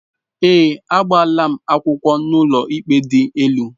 Ee, agbaala m akwụkwọ n'ụlọikpe dị elu